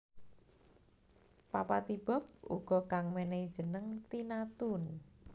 Papa T Bob uga kang menehi jeneng Tina Toon